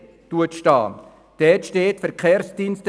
Buchstabe c festgehalten wird: